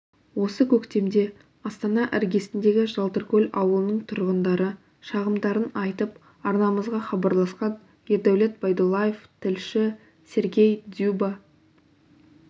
осы көктемде астана іргесіндегі жалтыркөл ауылының тұрғындары шағымдарын айтып арнамызға хабарласқан ердәулет байдуллаев тілші сергей дзюба